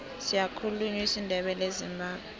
siyakhulunywa isindebele ezimbabwe